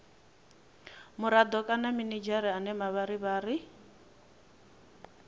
murado kana minidzhere ane mavharivhari